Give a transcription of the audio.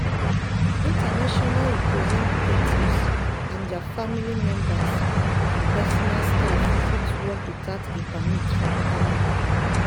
international representatives and dia family members and personal staff fit work witout a permit for canada.